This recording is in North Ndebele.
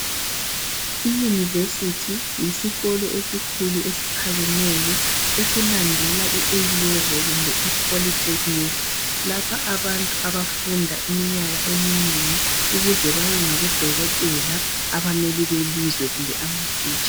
Iyunivesithi yisikolo esikhulu esiphakemeyo esilandela I Alevel kumbe iplolytechnic lapho abantu abafunda iminyaka eminengi ukuze babe ngabodokotela abameli belizwe kumbe amatitsha.